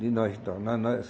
De nós, então. Nós nós